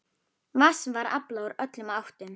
Vatns var aflað úr öllum áttum.